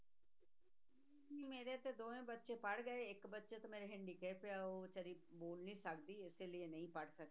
ਮੇਰੇ ਤੇ ਦੋਵੇਂ ਬੱਚੇ ਪੜ੍ਹ ਗਏ ਇੱਕ ਬੱਚਾ ਤਾਂ ਮੇਰਾ handicap ਆ ਉਹ ਬੇਚਾਰੀ ਬੋਲ ਨਹੀਂ ਸਕਦੀ, ਇਸ ਲਈ ਨਹੀਂ ਪੜ੍ਹ ਸਕਦੀ।